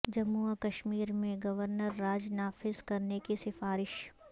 جموں و کشمیر میں گورنر راج نافذ کرنے کی سفارش